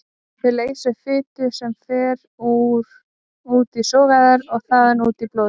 Þau leysa upp fitu sem fer út í sogæðar og þaðan út í blóðið.